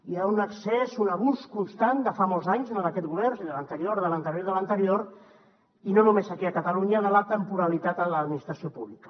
hi ha un excés un abús constant de fa molts anys no d’aquest govern de l’anterior de l’anterior i de l’anterior i no només aquí a catalunya de la temporalitat en l’administració pública